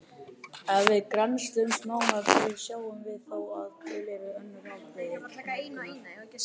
Ef við grennslumst nánar fyrir sjáum við þó að til eru önnur afbrigði notkunar.